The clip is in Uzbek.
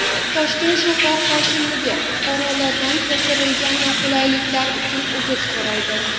Toshkent shahar hokimligi fuqarolardan keltirilgan noqulayliklar uchun uzr so‘raydi.